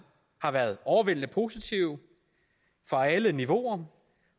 har været overvældende positive fra alle niveauer